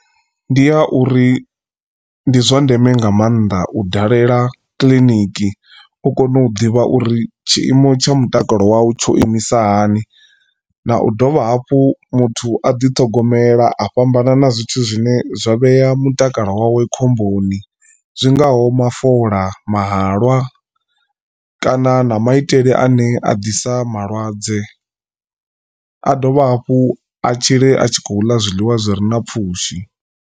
Ndi a uri ndi zwa ndeme nga maanḓa u dalela kiḽiniki u kone u ḓivha uri tshiimo tsha mutakalo wau tsho imisa hani. Na u dovha hafhu muthu a ḓithogomela a fhambana na zwithu zwine zwa vhea mutakalo wawe khomboni zwingaho mafola, mahalwa kana na maitele ane a ḓisa malwadze a dovha hafhu a tshile a tshi khou ḽa zwiḽiwa zwi re na pfhushi.